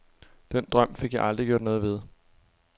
Den drøm fik jeg aldrig gjort noget ved.